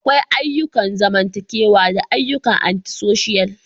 Akwai ayyukan zamantakewa da ayyukan Anti-social.